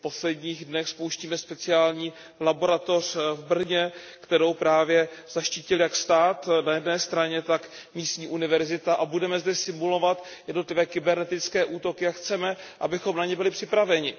V posledních dnech spouštíme speciální laboratoř v Brně, kterou právě zaštítil jak stát na jedné straně, tak místní univerzita, a budeme zde simulovat jednotlivé kybernetické útoky a chceme, abychom na ně byli připraveni.